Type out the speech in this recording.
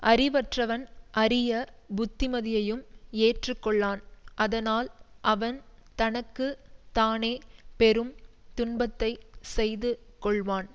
அறிவற்றவன் அரிய புத்திமதியையும் ஏற்று கொள்ளான் அதனால் அவன் தனக்கு தானே பெரும் துன்பத்தை செய்து கொள்வான்